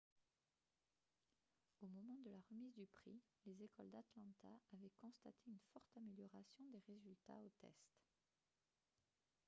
au moment de la remise du prix les écoles d'atlanta avaient constaté une forte amélioration des résultats aux tests